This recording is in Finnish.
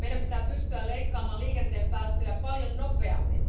Meidän pitää pystyä leikkaamaan liikenteen päästöjä paljon nopeammin.